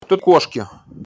тут кошки